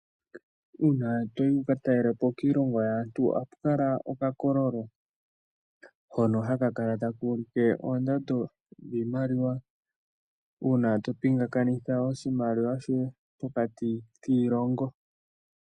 Una toyi wu ka talelepo kiilongo yaantu, ohapu kala oka kololo hono haka kala taka ulike oondando dhiimaliwa una to pingakanitha oshimaliwa shoye pokati kiilongo.